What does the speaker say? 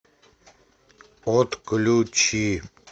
отключи